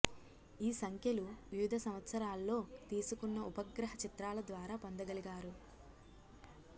ఈ సంఖ్యలు వివిధ సంవత్సరాల్లో తీసుకున్న ఉపగ్రహ చిత్రాల ద్వారా పొందగలిగారు